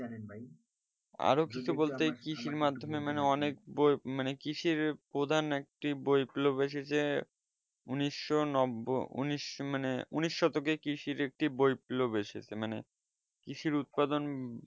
মানে অনেক কৃষির প্রধান একটি বই গুলো এসেছে উনিশশো নব্য মানে উন্নিশ শতকে বই গুলো এসেছে মানে কৃষিসর উৎপাদন